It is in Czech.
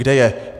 Kde je?